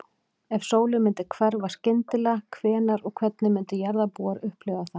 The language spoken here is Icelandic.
Ef sólin myndi hverfa skyndilega, hvenær og hvernig myndu jarðarbúar upplifa það?